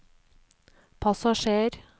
passasjer